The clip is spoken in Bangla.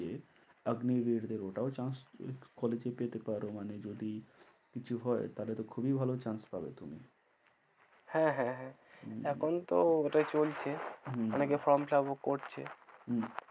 কিছু হয় তাহলে তো খুবই ভালো chance পাবে তুমি। হ্যাঁ হ্যাঁ হ্যাঁ এখন তো ওটাই চলছে, হম অনেকে form fill up ও করছে হম